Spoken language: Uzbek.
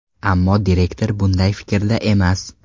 Ammo direktor bunday fikrda emas.